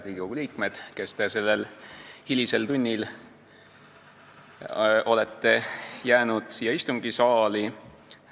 Head Riigikogu liikmed, kes te olete jäänud sellel hilisel tunnil siia istungisaali!